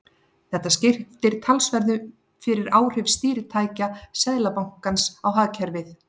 Þetta skiptir talsverðu fyrir áhrif stýritækja Seðlabankans á hagkerfið.